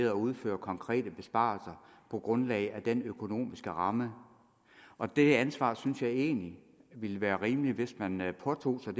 at udføre konkrete besparelser på grundlag af den økonomiske ramme og det ansvar synes jeg egentlig det ville være rimeligt at man påtog